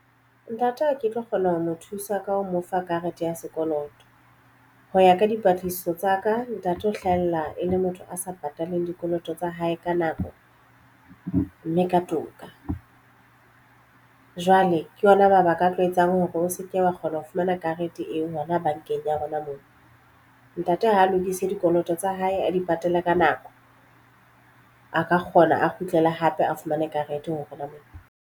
Ntate ke tlo kgona ho mo thusa ka ho mo fa karete ya sekoloto ho ya ka dipatlisiso tsa ka ntate ho hlahella e le motho a sa patalang dikoloto tsa hae ka nako mme ka toka. Jwale ke ona mabaka a tlo etsang hore o se ke wa kgona ho fumana karete eo hona bankeng ya rona mona ntate ha a lokise dikoloto tsa hae a di patale ka nako a ka kgona a kgutlele hape a fumane karete hona moo.